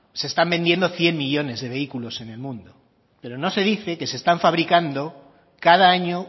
se están vendiendo cien millónes de vehículos en el mundo pero no se dice que se están fabricando cada año